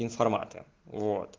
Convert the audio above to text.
информатор вот